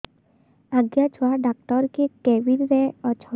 ଆଜ୍ଞା ଛୁଆ ଡାକ୍ତର କେ କେବିନ୍ ରେ ଅଛନ୍